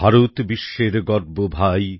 ভারত বিশ্বের গর্ব ভাই